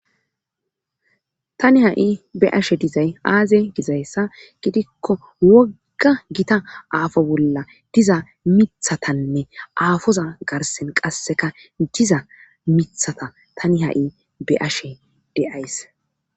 tani ha7i be ashe dizay aaze dizayssa gidikko wogga gita aafo bolla diza mithatanne aafoza garsen qasseka diza mithata tani ha7i be ashe de7ays